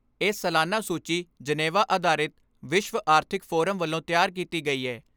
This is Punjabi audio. ਏਹ ਸਾਲਾਨਾ ਸੂਚੀ ਜਨੇਵਾ ਆਧਾਰਿਤ ਵਿਸ਼ਵ ਆਰਥਿਕ ਫੋਰਮ ਵੱਲੋਂ ਤਿਆਰ ਕੀਤੀ ਗਈ ਏ।